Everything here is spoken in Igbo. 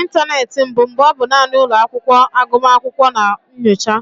Ịntanetị mbụ, mgbe ọ bụ naanị ụlọ akwụkwọ agụmakwụkwọ na nyocha,